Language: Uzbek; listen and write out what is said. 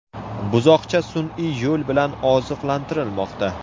Buzoqcha sun’iy yo‘l bilan oziqlantirilmoqda.